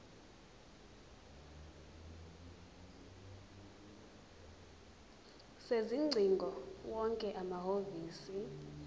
sezingcingo wonke amahhovisi